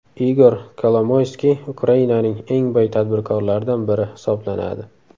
Igor Kolomoyskiy Ukrainaning eng boy tadbirkorlaridan biri hisoblanadi.